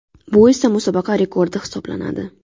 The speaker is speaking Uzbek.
Bu esa musobaqa rekordi hisoblanadi.